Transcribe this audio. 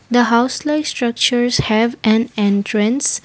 the house like structures have an entrance.